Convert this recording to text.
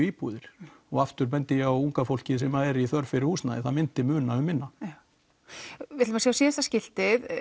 íbúðir og aftur bendi ég að unga fólkið sem er í þörf fyrir húsnæði að það myndi muna um minna já við ætlum að sjá síðasta skiltið